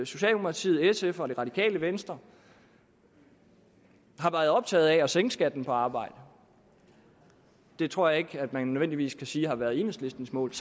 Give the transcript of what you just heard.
socialdemokratiet sf og det radikale venstre har været optaget af at sænke skatten på arbejde det tror jeg ikke man nødvendigvis kan sige har været enhedslistens mål